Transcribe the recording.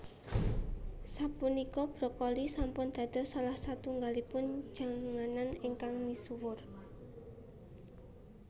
Sapunika brokoli sampun dados salah satunggalipun janganan ingkang misuwur